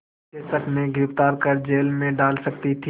के शक में गिरफ़्तार कर जेल में डाल सकती थी